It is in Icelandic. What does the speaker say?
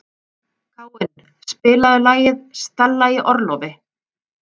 Káinn, spilaðu lagið „Stella í orlofi“.